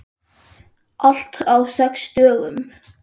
Allt á sex dögum.